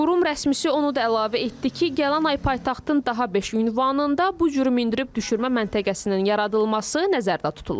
Qurum rəsmisi onu da əlavə etdi ki, gələn ay paytaxtın daha beş ünvanında bu cür mindirib düşürmə məntəqəsinin yaradılması nəzərdə tutulub.